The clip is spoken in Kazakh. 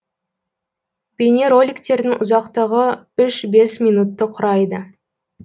бейнероликтердің ұзақтығы үш бес минутты құрайды